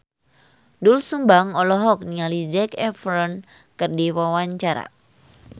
Doel Sumbang olohok ningali Zac Efron keur diwawancara